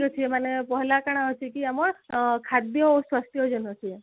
ତ ସେମାନେ କହିଲା କଣ ହଉଛି କି ଆମର ଖାଦ୍ଯ ଓ ସ୍ୱାସ୍ଥ୍ୟ